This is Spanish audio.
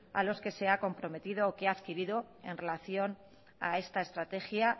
a los que se ha comprometido o ha adquirido en relación a esta estrategia